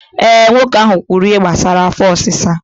Eh, nwoke ahụ kwuru ihe gbasara afọ ọsịsa